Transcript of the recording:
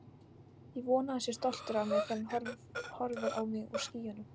Ég vona að hann sé stoltur af mér þegar hann horfir á mig úr skýjunum.